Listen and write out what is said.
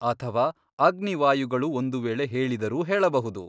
ಅಥವ ಅಗ್ನಿವಾಯುಗಳು ಒಂದು ವೇಳೆ ಹೇಳಿದರೂ ಹೇಳಬಹುದು.